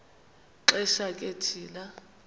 xesha ke thina